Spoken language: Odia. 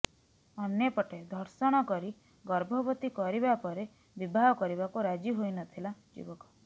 ଅନ୍ୟପଟେ ଧର୍ଷଣ କରି ଗର୍ଭବତୀ କରିବା ପରେ ବିବାହ କରିବାକୁ ରାଜି ହୋଇନଥିଲା ଯୁବକ